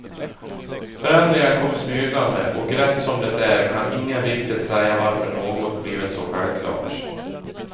Förändringar kommer smygande och rätt som det är kan ingen riktigt säga varför något blivit så självklart.